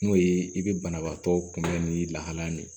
N'o ye i bɛ banabaatɔ kunbɛn ni lahala min